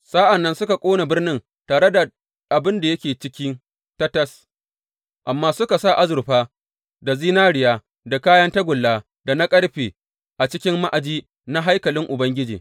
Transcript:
Sa’an nan suka ƙona birnin tare da dukan abin da yake ciki tatas, amma suka sa azurfa da zinariya da kayan tagulla da na ƙarfe a cikin ma’aji na haikalin Ubangiji.